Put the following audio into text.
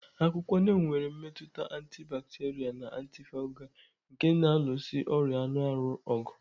Akwụkwọ Neem nwere mmetụta antibacterial na antifungal nke na-alụso ọrịa anụ ahụ ọgụ.